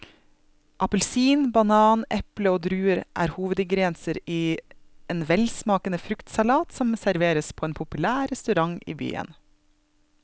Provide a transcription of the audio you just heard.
Appelsin, banan, eple og druer er hovedingredienser i en velsmakende fruktsalat som serveres på en populær restaurant i byen.